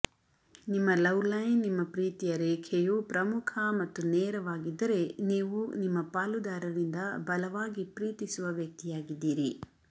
ನಿಮ್ಮ love line ನಿಮ್ಮ ಪ್ರೀತಿಯ ರೇಖೆಯು ಪ್ರಮುಖ ಮತ್ತು ನೇರವಾಗಿದ್ದರೆ ನೀವು ನಿಮ್ಮ ಪಾಲುದಾರರಿಂದ ಬಲವಾಗಿ ಪ್ರೀತಿಸುವ ವ್ಯಕ್ತಿಯಾಗಿದ್ದೀರಿ